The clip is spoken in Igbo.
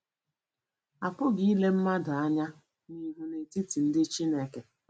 Apụghị ịle mmadụ anya n'ihu n'etiti ndị Chineke.